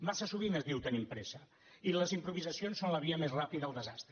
massa sovint es diu tenim pressa i les improvisacions són la via més ràpida al desastre